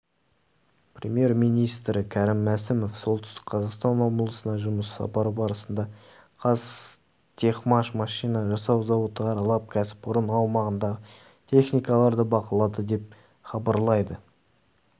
премьер-министрі кәрім мәсімов солтүстік қазақстан облысына жұмыс сапары барысында қазтехмаш машина жасау зауыты аралап кәсіпорын аумағындағы техникаларды бақылады деп хабарлайды